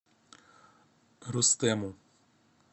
рустему